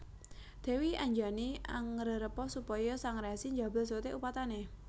Dèwi Anjani angrerepa supaya Sang Resi njabel soté upatané